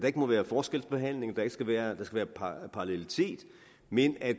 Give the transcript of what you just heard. ikke må være forskelsbehandling at der skal være parallelitet men at